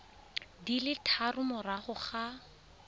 di le tharo morago ga